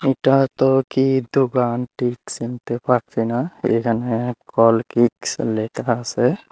এটা তো কি দোকান ঠিক চিনতে পারছি না এইখানে কলকিক্স লেখা আছে।